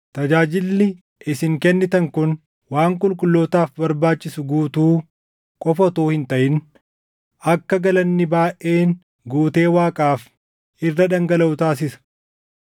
Tajaajilli isin kennitan kun waan qulqullootaaf barbaachisu guutuu qofa utuu hin taʼin, akka galanni baayʼeen guutee Waaqaaf irra dhangalaʼu taasisa.